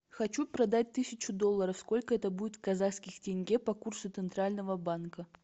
хочу продать тысячу долларов сколько это будет в казахских тенге по курсу центрального банка